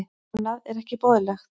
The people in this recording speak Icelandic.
Annað er ekki boðlegt.